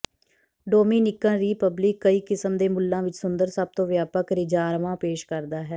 Dominican Republic ਕਈ ਕਿਸਮ ਦੇ ਮੁੱਲਾਂ ਵਿੱਚ ਸੁੰਦਰ ਸਭ ਤੋਂ ਵਿਆਪਕ ਰਿਜ਼ਾਰਵਾਂ ਪੇਸ਼ ਕਰਦਾ ਹੈ